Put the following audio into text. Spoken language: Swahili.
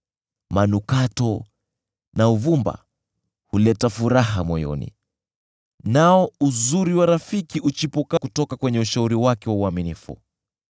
Manukato na uvumba huleta furaha moyoni, nao uzuri wa rafiki huchipuka kutoka kwenye ushauri wake wa uaminifu.